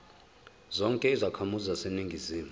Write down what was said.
zonke izakhamizi zaseningizimu